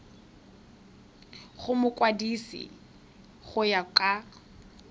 go mokwadise go ya ka